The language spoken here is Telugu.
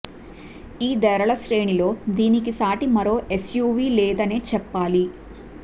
ఈ ధరల శ్రేణిలో దీనికి సాటి మరొక ఎస్యూవీ లేదనే చెప్పాలి